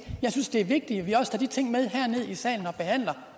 jeg synes det er vigtigt at vi også tager de ting med herned i salen og behandler